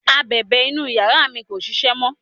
abẹ̀bẹ̀ inú yàrá mi kò ṣiṣẹ́ mọ